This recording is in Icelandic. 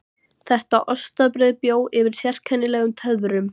Þetta ostabrauð bjó yfir sérkennilegum töfrum.